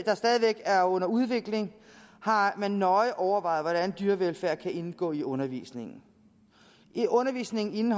er under udvikling har man nøje overvejet hvordan dyrevelfærd kan indgå i undervisningen i undervisningen